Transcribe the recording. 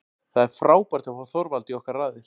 Það er frábært að fá Þorvald í okkar raðir.